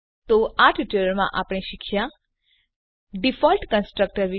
તો આ ટ્યુટોરીયલમાં આપણે શીખ્યા ડિફોલ્ટ કન્સ્ટ્રક્ટર વિશે